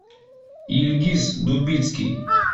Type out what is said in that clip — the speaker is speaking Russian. ильгиз дубицкий